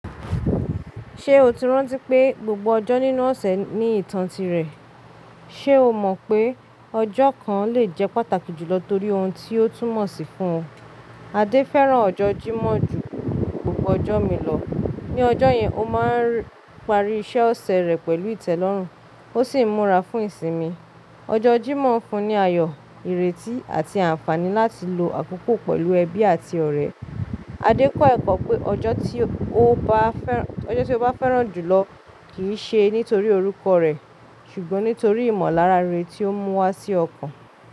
Ṣé o ti rántí pé gbogbo ọjọ́ nínú ọ̀sẹ̀ ní ìtàn tirẹ̀? Ṣé o mọ̀ pé ọjọ́ kan lè jẹ́ pàtàkì jù lọ torí ohun tí ó túmọ̀ sí fún ọ? Adé fẹ́ràn ọjọ́ Jímọ̀h ju gbogbo ọjọ́ mi lọ. Ni ọjọ́ yẹn, ó máa ń parí iṣẹ́ ọ̀sẹ̀ rẹ̀ pẹ̀lú ìtẹ́lọ́rùn, ó sì ń múra fún ìsinmi. Ọjọ́ Jímọ̀h ń fun ní ayọ̀, ìrètí, àti àǹfààní láti lo àkókò pẹ̀lú ẹbí àti ọ̀rẹ́. Adé kọ́ ẹ̀kọ́ pé ọjọ́ tí ó bá fẹ́ràn jù lọ kì í ṣe nítorí orúkọ rẹ̀, ṣùgbọ́n nítorí ìmọ̀lára rere tí ó ń mú wá sí ọkàn.